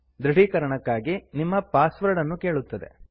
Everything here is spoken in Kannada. ದೃಢೀಕರಣಕ್ಕಾಗಿ ನಿಮ್ಮ ಪಾಸ್ವರ್ಡ್ ಅನ್ನು ಕೇಳುತ್ತದೆ